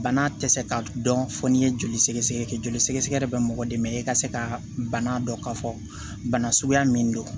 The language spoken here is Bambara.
Bana tɛ se ka dɔn fo n'i ye joli sɛgɛsɛgɛ kɛ joli sɛgɛsɛgɛ de bɛ mɔgɔ dɛmɛ e ka se ka bana dɔ k'a fɔ bana suguya min don